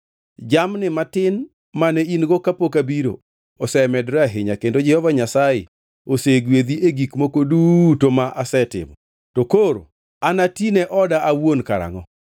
Jamni matin mane in-go kapok abiro osemedore ahinya, kendo Jehova Nyasaye osegwedhi e gik moko duto ma asetimo. To koro anatine oda awuon karangʼo?”